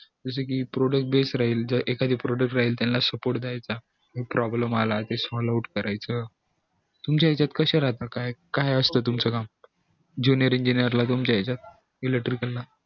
जस कि product base राहील किव्हा एखादा product राहील त्याला support दयायचा problem आला ते solve out करायच तुमच्या यांच्यात कास राहत काय असत तुमचं नाव junior engineer ला तुमच्या याच्यात electrical